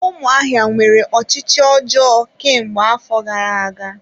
Ụmụahịa nwere ọchịchị ọjọọ kemgbe afọ gara-aga.